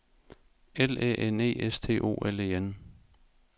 L Æ N E S T O L E N